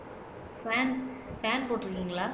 pan fan போட்டுருக்கீங்களா